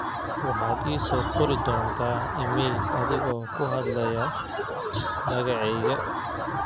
waxaad ii soo qori doontaa iimayl adigo ku hadlaaya magacayga